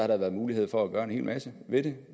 der været mulighed for at gøre en hel masse ved det